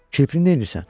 Kirpi nəyirsən?